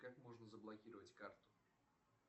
как можно заблокировать карту